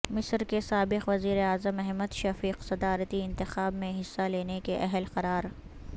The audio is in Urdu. مصر کے سابق وزیر اعظم احمد شفیق صدارتی انتخاب میں حصہ لینے کے اہل قرار